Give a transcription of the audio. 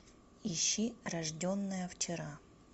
ищи рожденная вчера